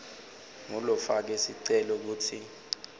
ngulofake sicelo kutsi